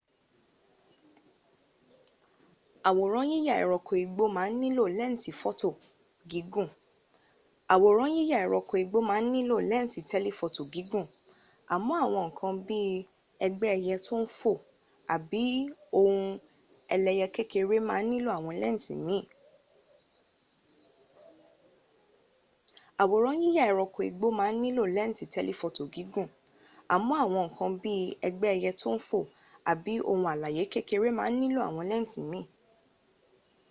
aworan yiya ẹranko igbo ma n nilo lẹnsi tẹlifoto gigun amọ awọn nkan bii ẹgbẹ ẹyẹ to n fo abi ohun alaye kekere ma n nilo awọn lẹnsi miin